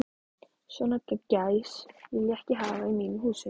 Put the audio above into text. Svona gæs vil ég ekki hafa í mínum húsum.